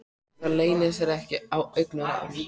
Það leynir sér ekki á augnaráðinu.